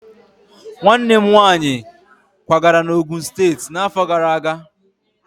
Nwanne m nwaanyị kwagara na Ogun steetị n'afọ gara aga.